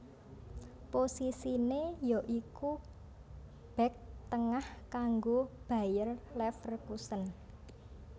Posisiné ya iku bèk tengah kanggo Bayer Leverkusen